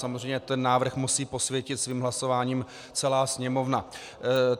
Samozřejmě ten návrh musí posvětit svým hlasováním celá Sněmovna.